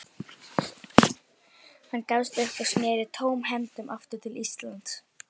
Hann gafst upp og sneri tómhentur aftur til Íslands.